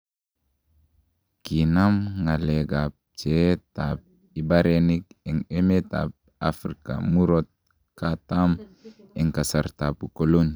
Kinaam ng'aleek ab pcheet ab ibareniik en emet ab Afrika murto katam en kasrtab ukoloni.